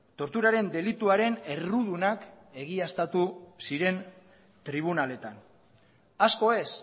torturaren delituaren errudunak egiaztatu ziren tribunaletan asko ez